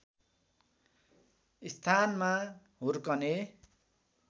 स्थानमा हुर्कने